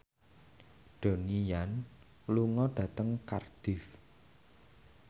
Donnie Yan lunga dhateng Cardiff